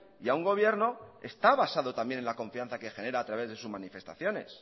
y a un gobierno está basado también en la confianza que genera a través de sus manifestaciones